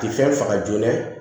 Ti fɛn faga joona